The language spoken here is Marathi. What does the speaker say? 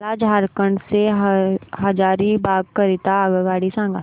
मला झारखंड से हजारीबाग करीता आगगाडी सांगा